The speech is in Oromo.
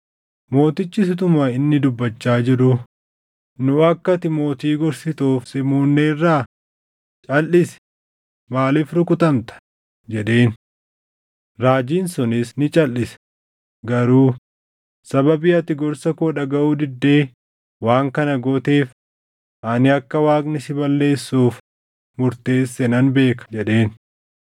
Mootichis utuma inni dubbachaa jiruu, “Nu akka ati mootii gorsituuf si muudneerraa? Calʼisi! Maaliif rukutamta?” jedheen. Raajiin sunis ni calʼise; garuu, “Sababii ati gorsa koo dhagaʼuu diddee waan kana gooteef, ani akka Waaqni si balleessuuf murteesse nan beeka” jedheen.